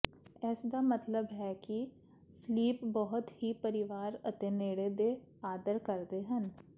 ਇਸ ਦਾ ਮਤਲਬ ਹੈ ਕਿ ਸਲੀਪ ਬਹੁਤ ਹੀ ਪਰਿਵਾਰ ਅਤੇ ਨੇੜੇ ਦੇ ਆਦਰ ਕਰਦੇ ਹਨ